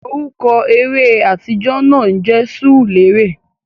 Orúkọ eré atijọ náà jẹ Sùùrulérè